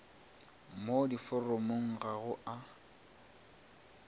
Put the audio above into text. mo diforomong ga go a